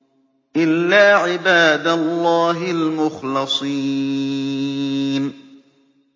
إِلَّا عِبَادَ اللَّهِ الْمُخْلَصِينَ